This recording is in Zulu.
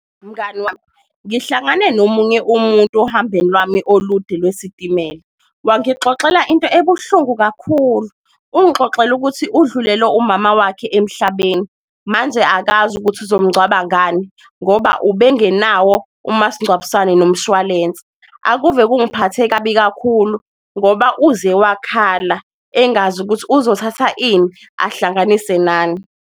Mngani wami, ngihlangane nomunye umuntu ohambeni lami olude lwesitimela wangixoxela into ebuhlungu kakhulu, ungixoxela ukuthi udlulelwe umama wakhe emhlabeni. Manje akazi ukuthi uzomngcwaba ngani ngoba ubengenawo umasingcwabisane nomshwalense, akuve kungiphathe kabi kakhulu ngoba uze wakhala, engazi ukuthi uzothatha ini ahlanganise nani.